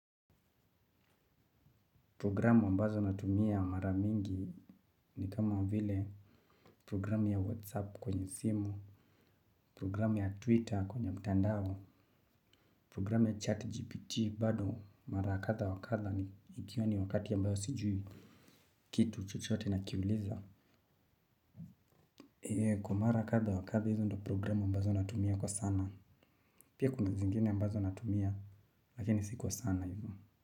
Programu ambazo natumia mara mingi ni kama vile programu ya WhatsApp kwenye simu, programu ya Twitter kwenye mtandao, programu ya chatGPT bado mara kadha wa kadha ni ikiwa ni wakati ambao sijui. Kitu chochote nakiuliza. Kwa mara kadha wa kadha hizo ndo programu ambazo natumia kwa sana. Pia kuna zingine ambazo natumia lakini si kwa sana hivo.